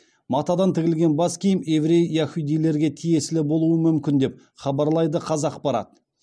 матадан тігілген бас киім еврей яхудилерге тиесілі болуы мүмкін деп хабарлайды қазақпарат